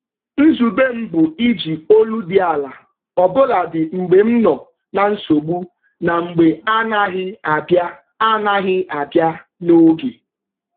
Nzube m bụ iji olu dị ala ọbụladị mgbe m nọ na nsogbu na mgbe anaghị abịa anaghị abịa n'oge.